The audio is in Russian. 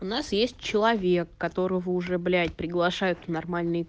у нас есть человек которого уже блять приглашает нормальный